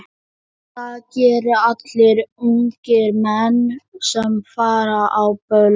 Það gera allir ungir menn sem fara á böll.